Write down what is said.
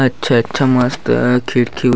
अच्छा अच्छा मस्त खिड़की --